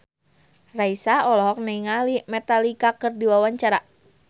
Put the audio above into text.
Raisa olohok ningali Metallica keur diwawancara